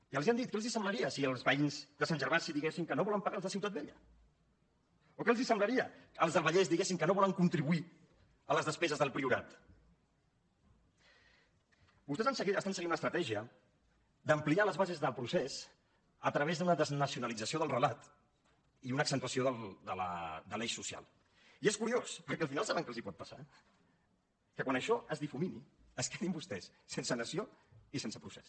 i els ho hem dit què els semblaria si els veïns de sant gervasi diguessin que no volen pagar els de ciutat vella o què els semblaria que els del vallès diguessin que no volen contribuir a les despeses del priorat vostès segueixen una estratègia d’ampliar les bases del procés a través d’una desnacionalització del relat i una accentuació de l’eix social i és curiós perquè al final saben què els pot passar que quan això es difumini es quedin vostès sense nació i sense procés